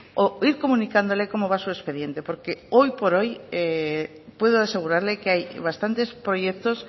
o ir comunicándole cómo va su expediente porque hoy por hoy puedo asegurarle que hay bastantes proyectos